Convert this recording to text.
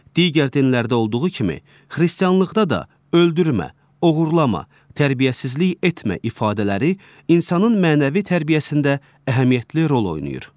Digər dinlərdə olduğu kimi, xristianlıqda da öldürmə, oğurlama, tərbiyəsizlik etmə ifadələri insanın mənəvi tərbiyəsində əhəmiyyətli rol oynayır.